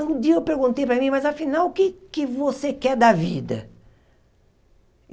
Um dia eu perguntei para mim, mas afinal o que é que você quer da vida?